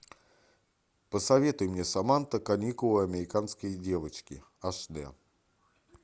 посоветуй мне саманта каникулы американские девочки аш дэ